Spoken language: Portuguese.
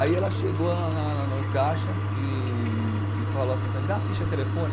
Aí ela chegou na na no caixa e e falou assim para mim, dá a ficha telefônica.